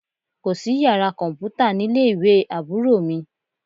Kò sí yàrá kọ̀m̀pútá nílé ìwé Àbúrò mi